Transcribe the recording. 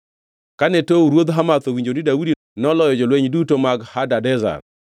Kane Tou ruodh Hamath owinjo ni Daudi noloyo jolweny duto mag Hadadezer,